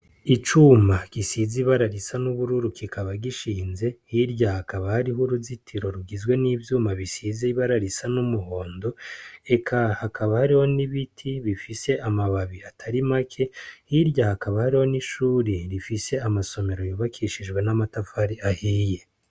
Icuma gisize ibara risa n'ubururu, kikaba gishinze, hirya hakaba hariho uruzitiro rugizwe n'ivyuma bisize ibara risa n'umuhondo, eka hakaba hariho n'ibiti bifise amababi atari make, hirya hakaba hariho n'ishure rifise amasomero yubakishijwe n'amatafari ahiye.